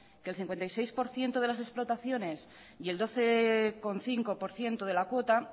que el cincuenta y seis por ciento de las explotaciones y el doce coma cinco por ciento de la cuota